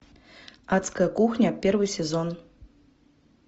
адская кухня первый сезон